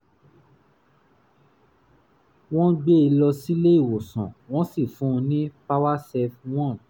wọ́n gbé e lọ sílé-ìwòsàn wọ́n sì fún un ní powercef 1